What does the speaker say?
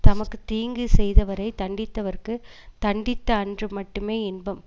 தமக்கு தீங்கு செய்தவரை தண்டித்தவர்க்குத் தண்டித்த அன்று மட்டுமே இன்பம்